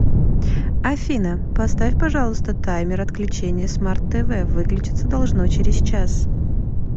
афина поставь пожалуйста таймер отключения смарт тв выключиться должно через час